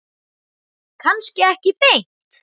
Kannski ekki beint.